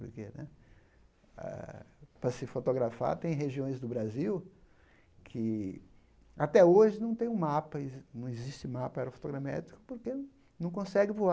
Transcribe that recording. Porque né ah para se fotografar, tem regiões do Brasil que até hoje não tem um mapa, exi não existe mapa aerofotogramétrico porque não consegue voar.